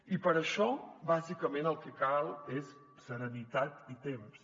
i per això bàsicament el que cal és serenitat i temps